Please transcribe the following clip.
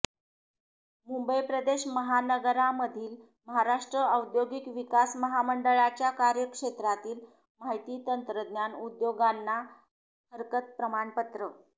मुंबई प्रदेश महानगरामधील महाराष्ट्र औद्योगिक विकास महामंडळाच्या कार्यक्षेत्रातील माहिती तंत्रज्ञान उदयोगांना ना हरकत प्रमाणपत्र